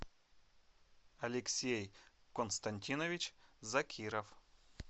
алексей константинович закиров